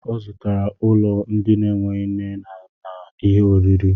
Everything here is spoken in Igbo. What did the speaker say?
Ọ zụtara ulo ndi n'eweghi nne ihe oriri